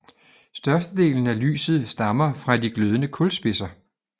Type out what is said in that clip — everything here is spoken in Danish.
Størstedelen af lyset stammer fra de glødende kulspidser